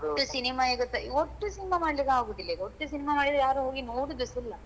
ಒಟ್ಟು cinema ಒಟ್ಟು cinema ಮಾಡ್ಲಿಕ್ಕೆ ಆಗುದಿಲ್ಲಾ ಈಗ ಒಟ್ಟು cinema ಮಾಡಿದ್ರೆ ಯಾರು ಹೋಗಿ ನೋಡೂದುಸ ಇಲ್ಲಾ